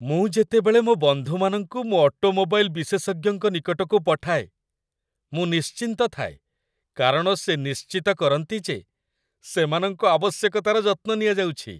ମୁଁ ଯେତେବେଳେ ମୋ ବନ୍ଧୁମାନଙ୍କୁ ମୋ ଅଟୋମୋବାଇଲ୍ ବିଶେଷଜ୍ଞଙ୍କ ନିକଟକୁ ପଠାଏ, ମୁଁ ନିଶ୍ଚିନ୍ତ ଥାଏ କାରଣ ସେ ନିଶ୍ଚିତ କରନ୍ତି ଯେ ସେମାନଙ୍କ ଆବଶ୍ୟକତାର ଯତ୍ନ ନିଆଯାଉଛି।